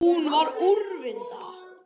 Hún var úrvinda.